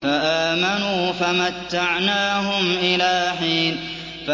فَآمَنُوا فَمَتَّعْنَاهُمْ إِلَىٰ حِينٍ